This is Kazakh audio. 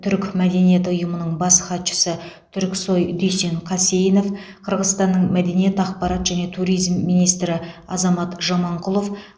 түрік мәдениеті ұйымының бас хатшысы түрксой дүйсен қасейінов қырғызстанның мәдениет ақпарат және туризм министрі азамат жаманқұлов